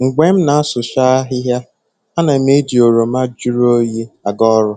Mgbe m na-asụcha ahịhịa, ana m eji oroma jụrụ oyi aga ọrụ